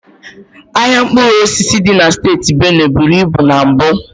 Ahịa mkpụrụ osisi dị na steeti Benue buru ibu na mbụ.